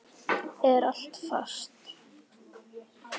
Er allt fast?